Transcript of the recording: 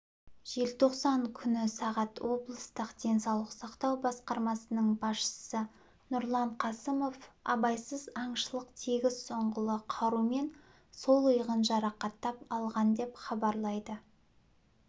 желтоқсан күні сағат облыстық денсаулық сақтау басқармасының басшысы нұрлан қасымов абайсыз аңшылық тегіс ұңғылы қарумен сол иығын жарақаттап алған деп хабарлайды